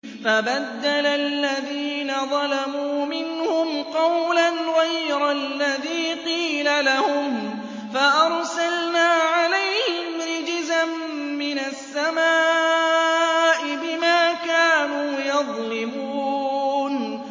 فَبَدَّلَ الَّذِينَ ظَلَمُوا مِنْهُمْ قَوْلًا غَيْرَ الَّذِي قِيلَ لَهُمْ فَأَرْسَلْنَا عَلَيْهِمْ رِجْزًا مِّنَ السَّمَاءِ بِمَا كَانُوا يَظْلِمُونَ